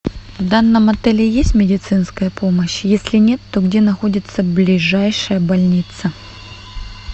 в данном отеле есть медицинская помощь если нет то где находится ближайшая больница